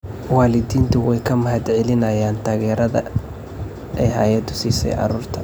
Waalidiintu way ka mahadcelinayaan taageerada ay hay'addu siisay carruurta.